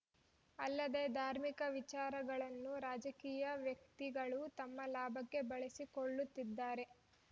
ಅಲ್ಲದೇ ಧಾರ್ಮಿಕ ವಿಚಾರಗಳನ್ನು ರಾಜಕೀಯ ವ್ಯಕ್ತಿಗಳು ತಮ್ಮ ಲಾಭಕ್ಕೆ ಬಳಸಿಕೊಳ್ಳುತ್ತಿದ್ದಾರೆ